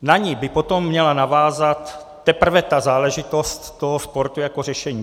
Na ni by potom měla navázat teprve ta záležitost toho sportu jako řešení.